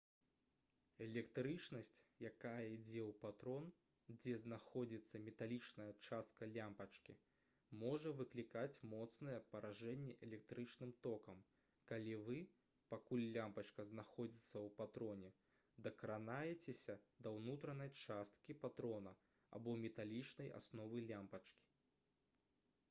электрычнасць якая ідзе ў патрон дзе знаходзіцца металічная частка лямпачкі можа выклікаць моцнае паражэнне электрычным токам калі вы пакуль лямпачка знаходзіцца ў патроне дакранаецеся да ўнутранай часткі патрона або металічнай асновы лямпачкі